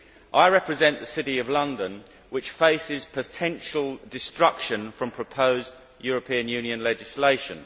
I represent the City of London, which faces potential destruction from proposed European Union legislation.